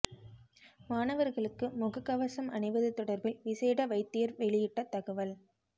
மாணவர்களுக்கு முக கவசம் அணிவது தொடர்பில் விசேட வைத்தியர் வெளியிட்ட தகவல்